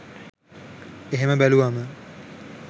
එහෙම බැලුවම